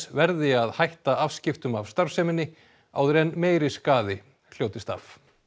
verði að hætta afskiptum af starfseminni áður en meiri skaði hljótist af